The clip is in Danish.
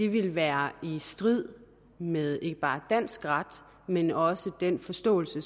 vil være i strid med ikke bare dansk ret men også med den forståelse af